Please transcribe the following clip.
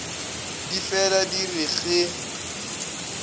di fela di re ge